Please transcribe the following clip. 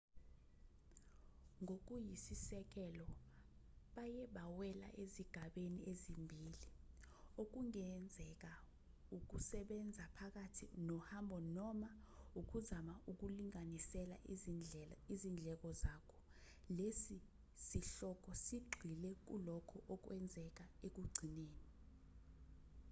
ngokuyisisekelo baye bawela ezigabeni ezimbili okungenzeka ukusebenza phakathi nohambo noma ukuzama ukulinganisela izindleko zakho lesi sihloko sigxile kulokho okwenzeka ekugcineni